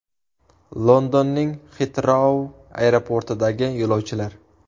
Londonning Xitrou aeroportidagi yo‘lovchilar.